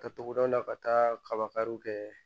Ka togodaw la ka taa kaba kariw kɛ